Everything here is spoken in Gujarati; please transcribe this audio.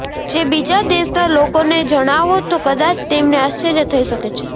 જે બીજા દેશના લોકોને જણાવો તો કદાચ તેમને આશ્ચર્ય થઇ શકે છે